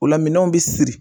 Ola minɛnw bi siri